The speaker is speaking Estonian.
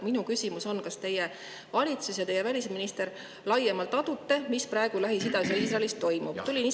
Minu küsimus on: kas teie valitsus ja teie välisminister laiemalt aduvad, mis praegu Lähis-Idas ja Iisraelis toimub?